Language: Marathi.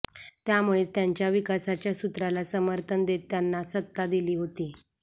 त्यामुळेच त्यांच्या विकासाच्या सूत्राला समर्थन देत त्यांना सत्ता दिली होती